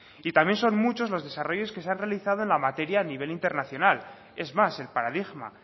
y también son muchos los desarrollos que se han realizado en la materia a nivel internacional es más el paradigma